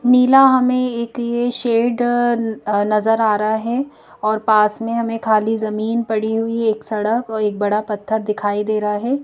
नीला हमें एक ये शेड अ अ नजर आ रहा है और पास में हमें खाली ज़मीन पड़ी हुई एक सड़क और एक बड़ा पत्थर दिखाई दे रहा है।